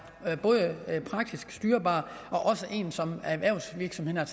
både praktisk styrbar og også en som erhvervsvirksomhederne